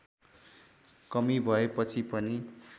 कमी भएपछि पनि